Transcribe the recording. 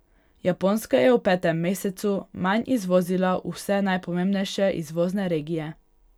Japonska je v petem mesecu manj izvozila v vse najpomembnejše izvozne regije.